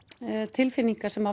tilfinningar sem